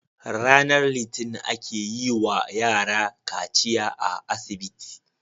RAnar litinin ake yi wa yara kaciya a asibiti